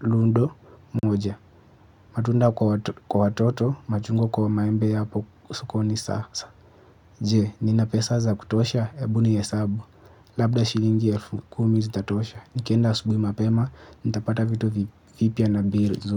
ludo moja, matunda kwa watoto, machungwa kwa maembe hapo sokoni sasa. Je, nina pesa za kutosha hebu nihesabu. Labda shilingi elfu kumi zitatosha. Nikienda asubuhi mapema, nitapata vitu vipya na bei.